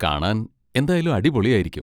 കാണാൻ എന്തായാലും അടിപൊളിയായിരിക്കും.